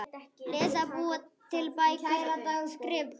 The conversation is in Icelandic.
Lesa- búa til bækur- skrifa